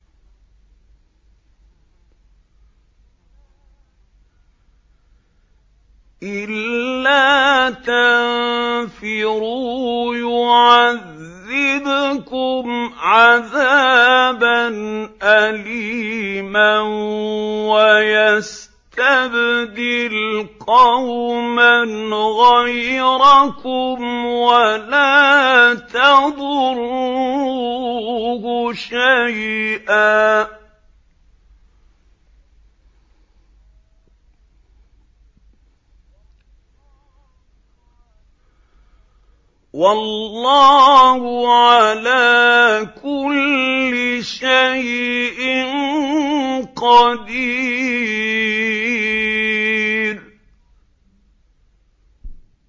إِلَّا تَنفِرُوا يُعَذِّبْكُمْ عَذَابًا أَلِيمًا وَيَسْتَبْدِلْ قَوْمًا غَيْرَكُمْ وَلَا تَضُرُّوهُ شَيْئًا ۗ وَاللَّهُ عَلَىٰ كُلِّ شَيْءٍ قَدِيرٌ